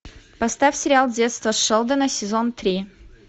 поставь сериал детство шелдона сезон три